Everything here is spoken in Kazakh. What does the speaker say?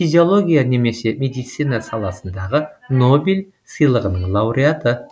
физиология немесе медицина саласындағы нобель сыйлығының лауреаты